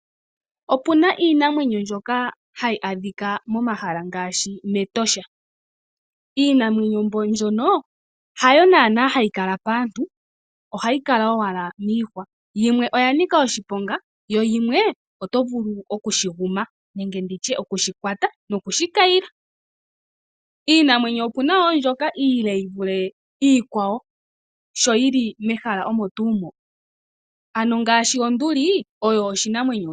Opu na iinamwenyo mbyoka hayi adhika momahala ngaashi mEtosha. Iinamwenyo mbyono hayo naanaa hayi kala paantu, ohayi kala owala miihwa. Yimwe oya nika oshiponga, yo yimwe oto vulu oku shi guma nenge oku shi kwata nokushi kayila. Iinamwenyo opu na wo mbyoka iile yi vule iikwawo sho yi li mehala moka, ngaashi onduli oyo oshinamwenyo oshile.